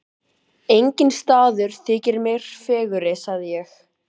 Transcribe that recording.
Enginn staður þykir mér fegurri sagði ég.